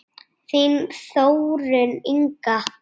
Þín Þórunn Inga.